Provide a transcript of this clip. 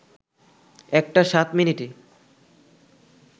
১ টা ৭ মিনিটে